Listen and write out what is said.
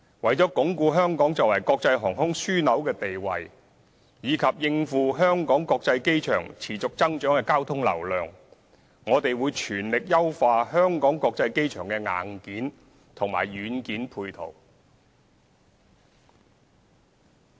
為鞏固香港作為國際航空樞紐的地位及應付香港國際機場持續增長的交通流量，我們會全力優化香港國際機場的硬件和軟件配套。